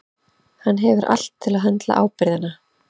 Hann hefur allt til að höndla ábyrgðina.